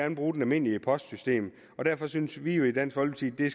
vil bruge det almindelige postsystem derfor synes vi jo i dansk folkeparti